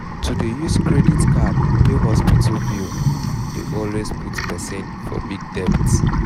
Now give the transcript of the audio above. to dey use credit card pay hospital bill dey always put person for big debt